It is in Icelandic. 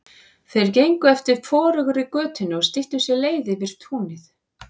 Þær gengu eftir forugri götunni og styttu sér leið yfir túnið.